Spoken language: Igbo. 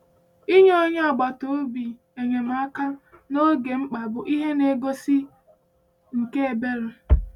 Inye onye agbata obi enyemaka n’oge mkpa bụ ihe ngosi nke ebere.